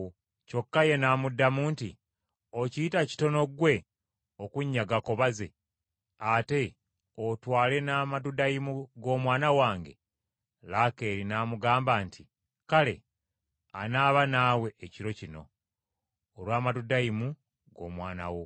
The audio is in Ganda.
Kyokka ye n’amuddamu nti, “Okiyita kitono ggwe okunnyagako baze? Ate otwale n’amadudayimu g’omwana wange?” Laakeeri n’amugamba nti, “Kale anaaba naawe ekiro kino olw’amadudayimu g’omwana wo.”